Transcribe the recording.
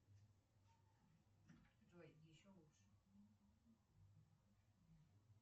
джой еще лучше